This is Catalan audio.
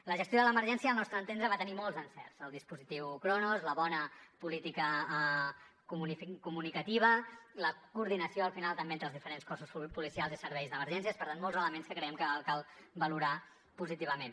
la gestió de l’emergència al nostre entendre va tenir molts encerts el dispositiu cronos la bona política comunicativa la coordinació al final també entre els diferents cossos policials i serveis d’emergències per tant molts elements que creiem que cal valorar positivament